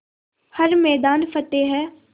हर मैदान फ़तेह